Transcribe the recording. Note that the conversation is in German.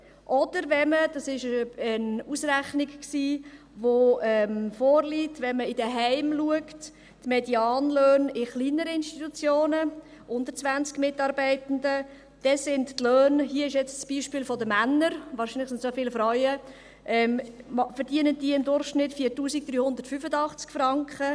Oder, wenn man in den Heimen schaut – dazu liegt eine Berechnung vor –, die Medianlöhne in kleineren Institutionen unter 20 Mitarbeitenden, dann sind die Löhne – hier jetzt am Beispiel der Männer, wahrscheinlich sind es auch viele Frauen – dann im Durchschnitt bei 4385 Franken.